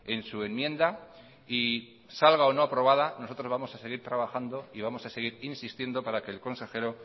en su enmienda y salga o no aprobada nosotros vamos a seguir trabajando y vamos a seguir insistiendo para que el consejero